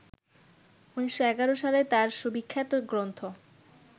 ১৯১১ সালে তাঁর সুবিখ্যাত গ্রন্থ